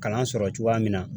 Kalan sɔrɔ cogoya min na